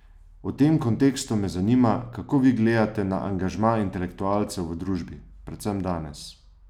V tem kontekstu me zanima, kako vi gledate na angažma intelektualcev v družbi, predvsem danes?